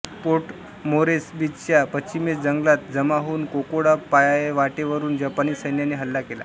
port मोरेस्बीच्या पश्चिमेस जंगलात जमा होऊन कोकोडा पायवाटेवरुन जपानी सैन्याने हल्ला केला